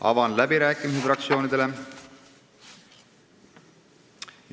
Avan läbirääkimised fraktsioonidele.